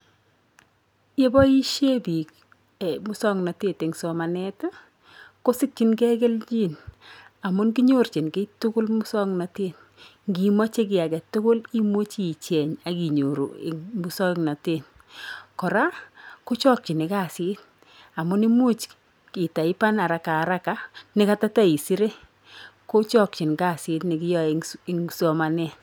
Ye boisie piik musoknotet eng somanet ii, kosikchingei keljin amun kinyorchin kiy tugul musoknotet, ngimoche kiy ake tugul imuchi icheng ak inyoru eng musoknotet, kora kochokchini kasit amu imuch itaipan harakaharaka ne katoteisire ko chokchin kasit ne kiyoe eng somanet.